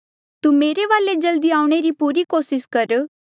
तू मेरे वाले जल्दी आऊणें री पूरी कोसिस कर